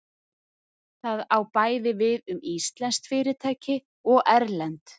Það á bæði við um íslensk fyrirtæki og erlend.